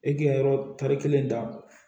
E k'i ka yɔrɔ tari kelen ta